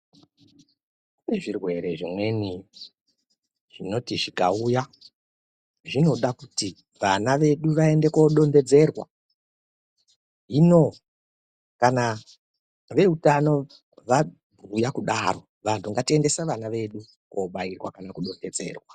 Kune zvirwere zvimweni zvinoti zvikauya zvinodakuti vana vedu vaende kodonhedzera. Hino kana veutano kana vabhuya kudara vantu ngatiendese vana vedu kobairwa kana kudonhedzerwa.